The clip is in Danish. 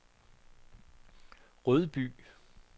Rødby